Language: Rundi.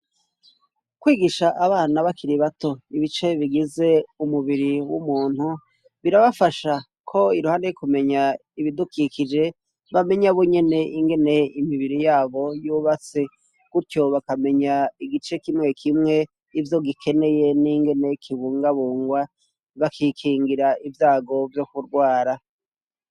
Kwigisha abana bakiri bato ibice bigize umubiri w'umuntu, birabafasha ko iruhande yo kumenya ibidukikije bamenya bonyene ingene imibiri yabo yubatse, gutyo bakamenya igice kimwe kimwe ivyo gikeneye n'ingene kibungabungwa, bakikingira ivyago vyo kugwara.